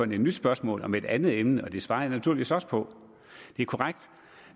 nyt spørgsmål om et andet emne og det svarer jeg naturligvis også på det er korrekt